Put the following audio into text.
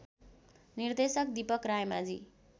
निर्देशक दीपक रायमाझी